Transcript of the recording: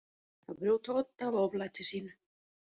Að brjóta odd af oflæti sínu